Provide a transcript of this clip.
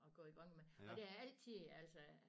At gå i gang med og det er altid altså